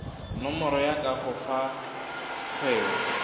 nomoro ya kago fao kgwebo